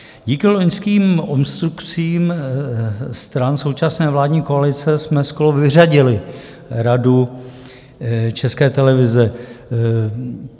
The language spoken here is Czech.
Díky loňským obstrukcím stran současné vládní koalice jsme skoro vyřadili Radu České televize.